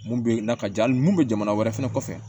Mun bɛ na ka ja hali mun bɛ jamana wɛrɛ fɛnɛ kɔfɛ